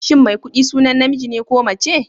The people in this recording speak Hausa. Shin Maikuɗi sunan namiji ne ko mace?